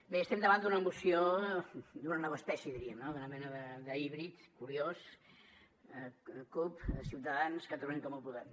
bé estem davant d’una moció d’una nova espècie diríem no d’una mena d’híbrid curiós cup ciutadans catalunya en comú podem